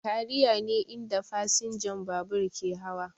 Kariya ne inda fasinjan babur ke hawa